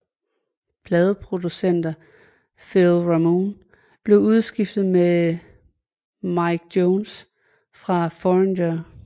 Pladeproducer Phil Ramone blev udskiftet med Mick Jones fra Foreigner